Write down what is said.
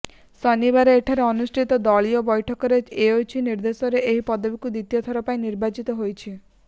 ଶନିବାର ଏଠାରେ ଅନୁଷ୍ଠିତ ଦଳୀୟ ବୈଠକରେ ୟେଚୁରି ନିଦ୍ୱର୍ନ୍ଦ୍ୱରେ ଏହି ପଦକୁ ଦ୍ୱିତୀୟ ଥର ପାଇଁ ନିର୍ବାଚିତ ହୋଇଛନ୍ତି